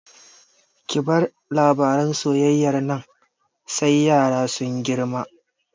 Ki bar labaran soyayyar nan sai yaran sun girma!